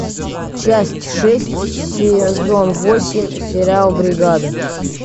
часть шесть сезон восемь сериал бригада